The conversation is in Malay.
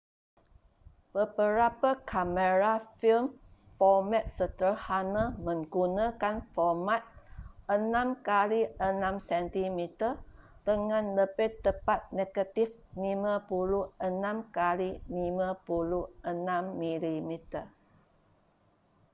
beberapa kamera film format sederhana menggunakan format 6 kali 6 sm,dengan lebih tepat negatif 56 kali 56 mm